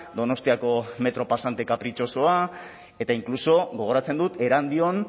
donostiako metro pasante kapritxosoa eta inkluso gogoratzen dut erandion